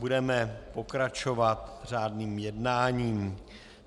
Budeme pokračovat řádným jednáním.